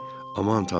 Aman tanrı!